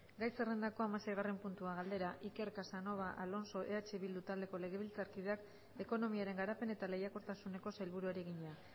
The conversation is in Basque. gai zerrendako hamaseigarren puntua galdera iker casanova alonso eh bildu taldeko legebiltzarkideak ekonomiaren garapen eta lehiakortasuneko sailburuari egina